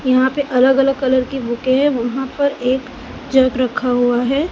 यहां पे अलग अलग कलर की बुके है वहां पर एक जग रखा हुआ है।